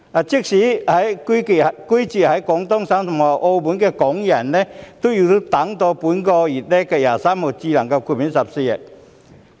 即使是居住在廣東省及澳門的香港人，亦要到本月23日才獲豁免14天強制檢疫。